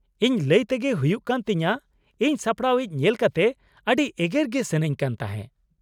ᱤᱧ ᱞᱟ.ᱭ ᱛᱮᱜᱮ ᱦᱩᱭᱩᱜ ᱠᱟᱱ ᱛᱤᱧᱟ. ᱤᱧ ᱥᱟᱯᱲᱟᱣᱤᱡ ᱧᱮᱞ ᱠᱟᱛᱮ ᱟ.ᱰᱤ ᱮᱜᱮᱨ ᱜᱮ ᱥᱟ.ᱱᱟ.ᱧ ᱠᱟᱱ ᱛᱟᱦᱮᱸ ᱾